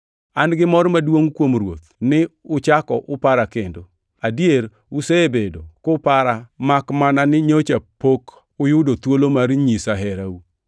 An gi mor maduongʼ kuom Ruoth ni uchako upara kendo. Adier, usebedo kupara makmana ni nyocha pok uyudo thuolo mar nyisa herau.